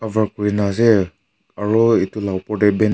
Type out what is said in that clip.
draw kori na ase aru etu laga opor te be--